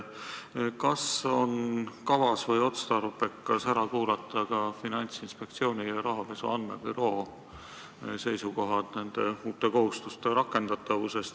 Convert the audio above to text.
Kas on kavas või otstarbekas ära kuulata ka Finantsinspektsiooni ja rahapesu andmebüroo seisukohad nende uute kohustuste rakendatavusest?